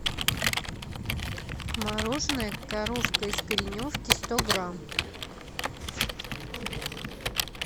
мороженое коровка из кореновки сто грамм